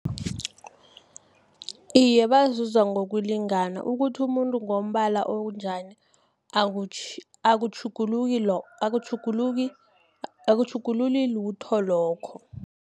Iye, bazuza ngokulingana, ukuthi umuntu ngombala obunjani, akutjhugululi lutho lokho.